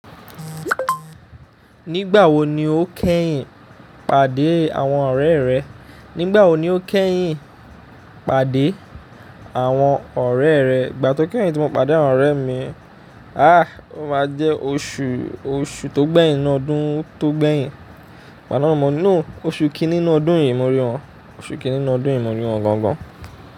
Nígbà wo ni o kẹ́yìn pàdé àwọn ọ̀rẹ́ rẹ? Nígbà wo ni o kẹ́yìn pàdé àwọn ọ̀rẹ́ rẹ? Ìgbà to kẹ́yìn tí mo pàdé àwọn ọ̀rẹ́ mi, ah, ó máa jẹ́ oṣù, oṣù tó gbẹ́yìn nínú ọdún tó gbẹ́yìn. Igba náà mọ̀. No oṣù kìni nú ọdún yìí mo rí wọn. Oṣù kìní nú ọdún yìí mo rí wọn gangan.